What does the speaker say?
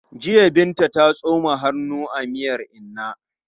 Jiya Binta ta tsoma hannu a miyan inna.